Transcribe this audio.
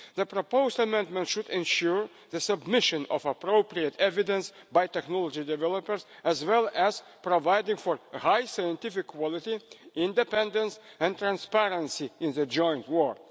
The proposed amendment should ensure the submission of appropriate evidence by technology developers and provide for a high scientific quality, independence and transparency in the joint work.